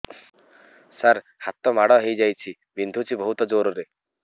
ସାର ହାତ ମାଡ଼ ହେଇଯାଇଛି ବିନ୍ଧୁଛି ବହୁତ ଜୋରରେ